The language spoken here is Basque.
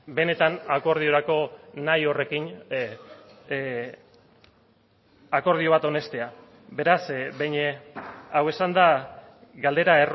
benetan akordiorako nahi horrekin akordio bat onestea beraz behin hau esanda galdera